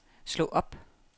slå op